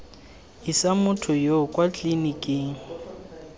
isa motho yoo kwa tliliniking